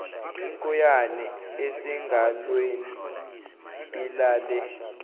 inkoyane esengalweni alale